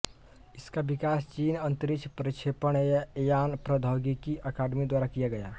इसका विकास चीन अंतरिक्ष प्रक्षेपण यान प्रौद्योगिकी अकादमी द्वारा किया गया